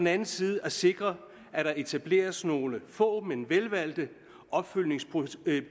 anden side at sikre at der etableres nogle få men velvalgte opfølgningsprocedurer